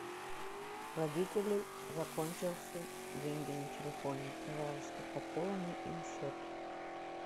у родителей закончился деньги на телефоне пожалуйста пополни им счет